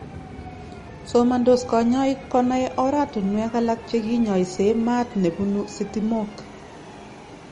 somandos kanyaik konai oratunwek alak che kinyaisyee maat nebunu sitimok